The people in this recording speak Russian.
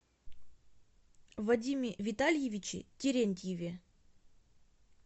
вадиме витальевиче терентьеве